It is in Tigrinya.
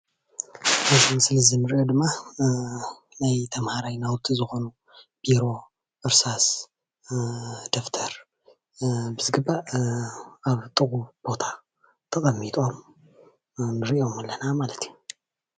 ኣብዚ ምስሊ እዚ እንሪኦ ድማ ናይ ተምሃራይ ናውቲ ዝኮኑ ቢሮ፣ እርሳእ፣ ደፍተር፣ ብዝግባእ ኣብ ጥንቁቅ ቦታ ተቀሚጦም ንሪኦም ኣለና ማለት እዩ፡፡